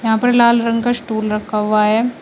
यहां पर लाल रंग का स्टूल रखा हुआ है।